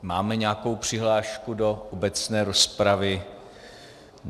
Máme nějakou přihlášku do obecné rozpravy?